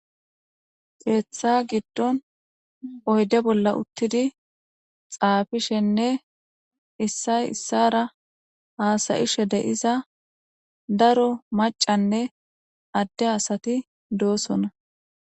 Keeththa giddon oyde bolla uttidi xaafishenne issay issara haasayishe de7iza daro macanne adde asati doosona